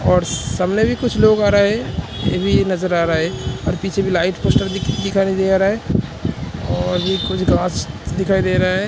और सामने भी कुछ लोग आ रहा है। ये भी नज़र आ रहा है और पीछे भी लाइट पोस्टर दिख- दिखाई दे रहा है और कुछ घास दिखाई दे रहे है।